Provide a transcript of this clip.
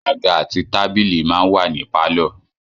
Àga àti tábìlì máa ń wà nínú pàlọ́